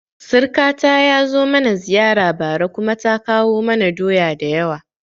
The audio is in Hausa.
Sirkata ya zo mana ziyara bara kuma ta kawo mana doya da yawa